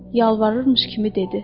Yalvarırmış kimi dedi: